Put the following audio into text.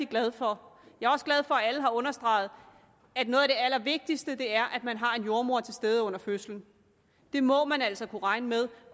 glad for at alle har understreget at noget af det allervigtigste er at man har en jordemoder til stede under fødslen det må man altså kunne regne med